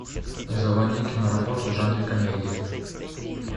заводи киноработу в жанре комедия